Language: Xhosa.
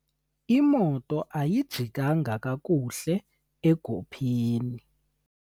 Imoto ayijikanga kakuhle egopheni.